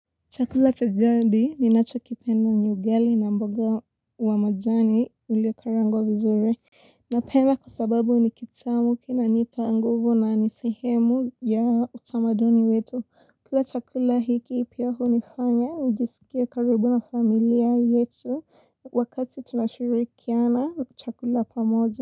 Chakula cha jadi ninachokipenda ni ugali na mboga wa majani uliokaangwa vizuri. Napenda kwa sababu ni kitamu kinanipa nguvu na ni sehemu ya utamaduni wetu. Pia chakula hiki pia hunifanya nijisikie karibu na familia yetu wakati tunashirikiana chakula pamoja.